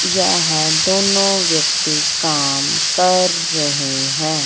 यह दोनों व्यक्ति काम कर रहे हैं।